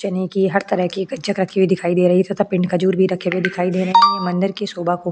चने की हर तरह की कच्चा का भी दिखाई दे रही है तथा पिंड के झूर भी रखे हुए दिखाई दे रहे है मंदिर की शोभा को --